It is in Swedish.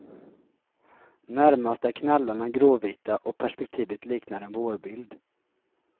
Närmast är knallarna gråvita och perspektivet liknar en vårbild.